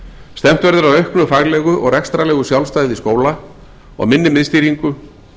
stefnt verður að auknu faglegu og rekstrarlegu sjálfstæði skóla og minni miðstýringu